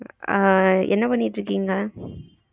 ஆஹ் என்ன பண்ணிட்டு இருக்கீங்க?